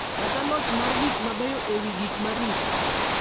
kata loch mar gik mabeyo e wi gik ma richo.